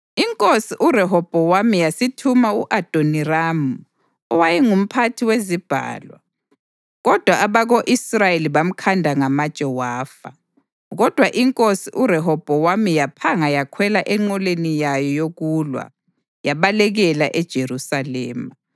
Inkosi uRehobhowami yasithuma u-Adoniramu owayengumphathi wezibhalwa, kodwa abako-Israyeli bamkhanda ngamatshe wafa. Kodwa inkosi uRehobhowami yaphanga yakhwela enqoleni yayo yokulwa, yabalekela eJerusalema.